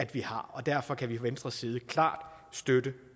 vi har og derfor kan vi fra venstres side klart støtte